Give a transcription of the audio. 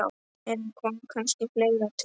Eða kom kannski fleira til?